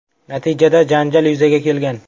Natijada janjal yuzaga kelgan.